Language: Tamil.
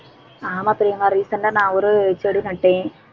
ஆமா பிரியங்கா recent ஆ நான் ஒரு செடி நட்டேன்